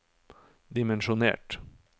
dimensjonert